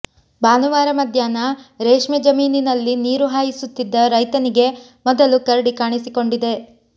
ಭಾನುವಾರ ಮಧ್ಯಾಹ್ನ ರೇಷ್ಮೆ ಜಮೀನಿನಲ್ಲಿ ನೀರು ಹಾಯಿಸುತ್ತಿದ್ದ ರೈತನಿಗೆ ಮೊದಲು ಕರಡಿ ಕಾಣಿಸಿಕೊಂಡಿದೆ